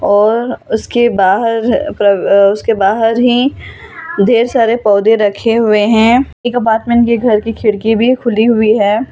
और उसके बाहर उसके बाहर ही ढेर सारे पौधे रखे हुए हैं एक अपार्टमेंट के घर की खिड़की भी खुली हुई है।